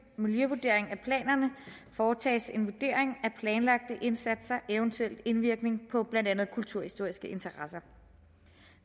miljøvurdering af planerne foretages en vurdering af planlagte indsatsers eventuelle indvirkning på blandt andet kulturhistoriske interesser